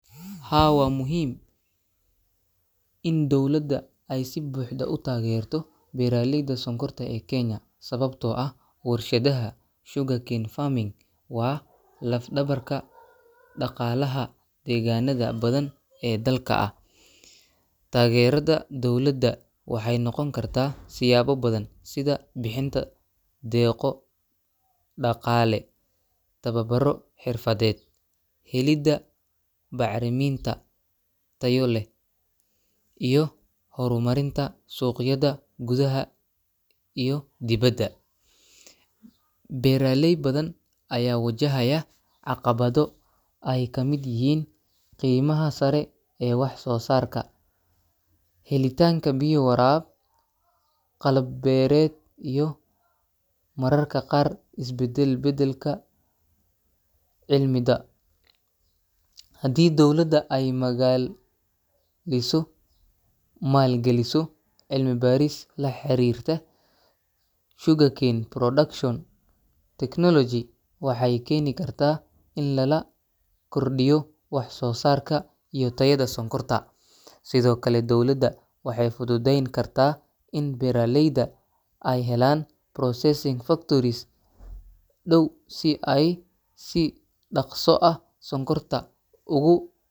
Haa, waa muhiim in dowladda ay si buuxda u taageerto beeraleyda sonkorta ee Kenya, sababtoo ah warshadaha sugarcane farming waa laf-dhabarka dhaqaalaha deegaanada badan ee dalka ah. Taageerada dowladda waxay noqon kartaa siyaabo badan sida bixinta deeqo dhaqaale, tababaro xirfadeed, helidda bacreminta tayo leh, iyo horumarinta suuqyada gudaha iyo dibadda. Beeraley badan ayaa wajahaya caqabado ay ka mid yihiin qiimaha sare ee wax-soo-saarka, helitaanka biyo waraab, qalab beereed iyo mararka qaar isbedelbedelka cilmida. Haddii dowladda ay magal maalin galiso cilmi-baaris la xiriirta sugarcane production technology, waxay keeni kartaa in lala kordhiyo wax-soo-saarka iyo tayada sonkorta. Sidoo kale, dowladda waxay fudude yn kartaa in beeraleyda ay helaan processing factories dhow si ay si dhakhso ah sonkorta ugu.